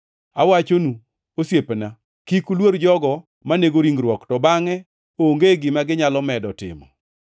“Awachonu osiepena, kik uluor jogo manego ringruok to bangʼe onge gima ginyalo medo timo.